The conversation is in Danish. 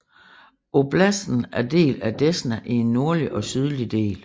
Oblasten er delt af Desna i en nordlig og sydlig del